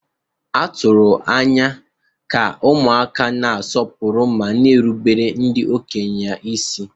A tụrụ anya ka ụmụaka na-asọpụrụ ma na-erubere ndị okenye ha isi.